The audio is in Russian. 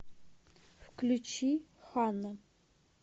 включи ханна